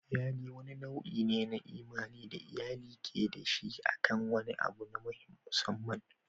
Bikin iyali wani nau'i ne na imani da iyali ke da shi akan wani abu na musamman.